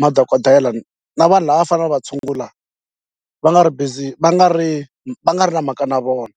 madokodela na vanhu lava va faneleke va tshungula va nga ri busy va nga ri va nga ri na mhaka na vona.